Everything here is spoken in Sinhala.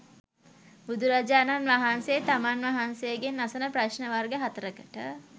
බුදුරජාණන් වහන්සේ තමන් වහන්සේගෙන් අසන ප්‍රශ්න වර්ග හතරකට